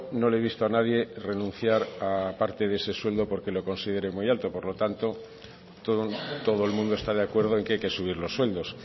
no le he visto a nadie renunciar a parte de ese sueldo porque lo considere muy alto por lo tanto son todo el mundo está de acuerdo en que hay que subir los sueldos